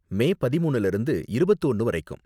மே பதிமூனுல இருந்து இருபத்து ஒன்பது வரைக்கும்.